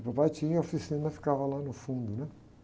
E papai tinha a oficina, ficava lá no fundo, né?